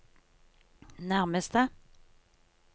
nærmeste